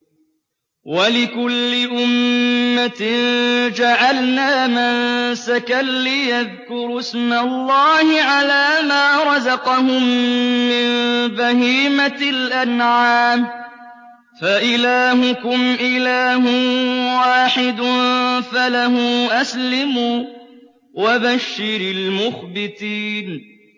وَلِكُلِّ أُمَّةٍ جَعَلْنَا مَنسَكًا لِّيَذْكُرُوا اسْمَ اللَّهِ عَلَىٰ مَا رَزَقَهُم مِّن بَهِيمَةِ الْأَنْعَامِ ۗ فَإِلَٰهُكُمْ إِلَٰهٌ وَاحِدٌ فَلَهُ أَسْلِمُوا ۗ وَبَشِّرِ الْمُخْبِتِينَ